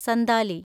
Santali